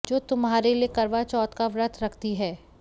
जो तुम्हारे लिए करवा चौथ का व्रत रखती है